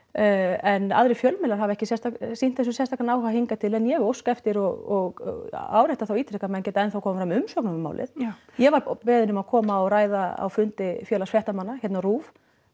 en aðrir fjölmiðlar hafa ekki sýnt þessu sérstakan áhuga hingað til en ég óska eftir og árétta það og ítreka að menn geta enn þá komið fram umsögnum um málið já ég var beðin um að koma og ræða á fundi Félags fréttamanna hérna á RÚV